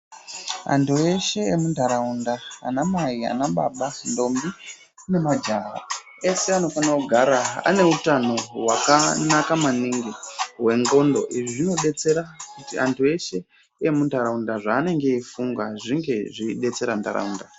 Antu eshe emuntharaunda, anamai, anababa, ntombi nemajaha, eshe anofanira kugara ane utano hwakanaka maningi hwengqondo. Izvi zvinodetsera kuti antu eshe emuntharaunda zvaanenge eifunga zvinge zveidetsera ntharaunda.